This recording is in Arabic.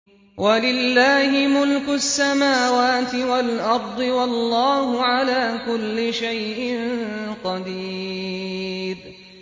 وَلِلَّهِ مُلْكُ السَّمَاوَاتِ وَالْأَرْضِ ۗ وَاللَّهُ عَلَىٰ كُلِّ شَيْءٍ قَدِيرٌ